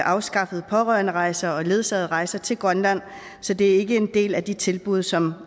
afskaffede pårørenderejser og ledsagede rejser til grønland så det ikke er en del af de tilbud som